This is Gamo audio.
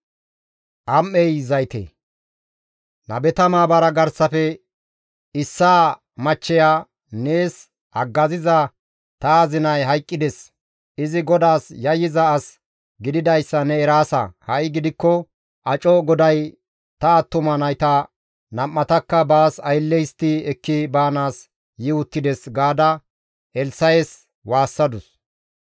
Nabeta maabara garsafe issaa machcheya, «Nees haggaziza ta azinay hayqqides; izi GODAAS yayyiza as gididayssa ne eraasa; ha7i gidikko aco goday ta attuma nayta nam7atakka baas aylle histti ekki baanaas yi uttides» gaada Elssa7es waassadus.